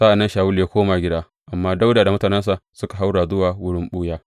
Sa’an nan Shawulu ya koma gida, amma Dawuda da mutanensa suka haura zuwa wurin ɓuya.